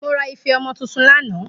Mo ra ife omo tuntun lana